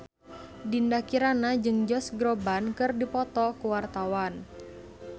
Dinda Kirana jeung Josh Groban keur dipoto ku wartawan